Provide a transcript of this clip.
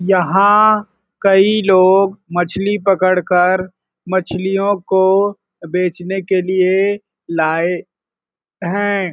यहाँ कई लोग मछली पकड़ कर मछलियों को बेचने लिए लाए हैं।